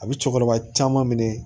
A bɛ cɛkɔrɔba caman minɛ